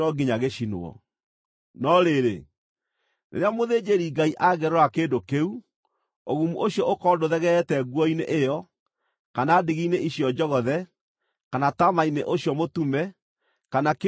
“No rĩrĩ, rĩrĩa mũthĩnjĩri-Ngai angĩrora kĩndũ kĩu, ũgumu ũcio ũkorwo ndũthegeete nguo-inĩ ĩyo, kana ndigi-inĩ icio njogothe kana taama-inĩ ũcio mũtume, kana kĩndũ kĩa rũũa-rĩ,